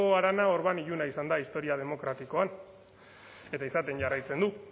harana orban iluna izan da historia demokratikoan eta izaten jarraitzen du